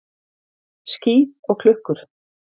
Ský og klukkur.